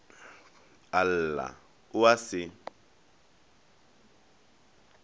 a lla o a se